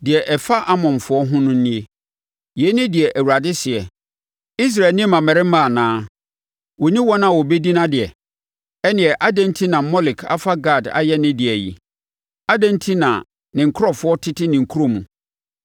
Deɛ ɛfa Amonfoɔ ho no nie: Yei ne deɛ Awurade seɛ: “Israel nni mmammarima anaa? Ɔnni wɔn a wɔbɛdi nʼadeɛ? Ɛnneɛ adɛn enti na Molek afa Gad ayɛ ne dea yi? Adɛn enti na ne nkurɔfoɔ tete ne nkuro mu?